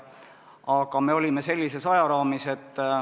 Aga me olime sellises ajaraamis.